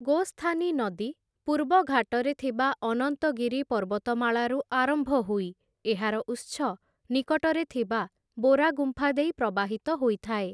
ଗୋସ୍ଥାନି ନଦୀ, ପୂର୍ବଘାଟରେ ଥିବା ଅନନ୍ତଗିରି ପର୍ବତମାଳାରୁ ଆରମ୍ଭ ହୋଇ ଏହାର ଉତ୍ସ ନିକଟରେ ଥିବା ବୋରା ଗୁମ୍ଫା ଦେଇ ପ୍ରବାହିତ ହୋଇଥାଏ ।